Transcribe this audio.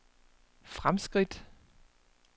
fremskridt